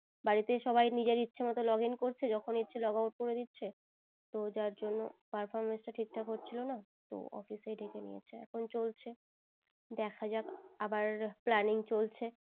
বাড়িতেই সবাই নিজের ইচ্ছে মত login করছে যখন ইচ্ছে logout করে দিচ্ছে তো যার জন্যে performance টা ঠিক থাকে হচ্ছিলো না তো office এই ডেকে নিয়েছে এখুন চলছে দেখা জাগে আবার planning চলছে।